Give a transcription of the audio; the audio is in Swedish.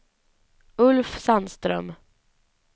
Ulf Sandström